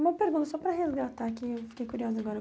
Uma pergunta só para resgatar, aqui eu fiquei curiosa agora.